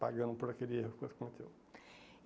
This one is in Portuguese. E pagando por aquele erro que você cometeu.